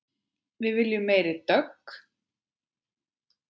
Við viljum meiri dögg!